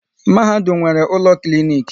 Mahadum nwere ụlọ klinik